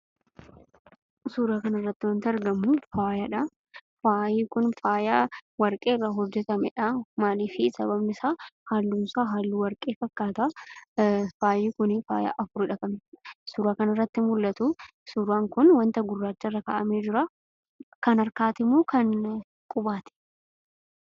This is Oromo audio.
Suuraa kanarratti wanti argamu faayadha. Faayi kun warqee irraa kan hojjetamedha; maaliifi sababni isa halluu warqee fakkata. Faayi kuni faaya afuridha; suuraa kanarratti kan mul'atu. Suuraan kun wanta guraacha irra kaa'ame jira. Kan harkaatimo kan qubaati?